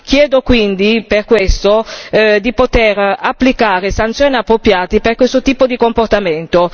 Chiedo quindi per questo di poter applicare sanzioni appropriate per questo tipo di comportamento.